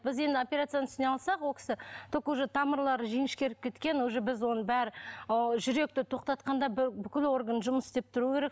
біз енді операцияны ол кісі только уже тамырлары жіңішкеріп кеткен уже біз оны бәрі ы жүректі тоқтатқанда бүкіл орган жұмыс істеп тұру керек